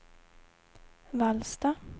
Vallsta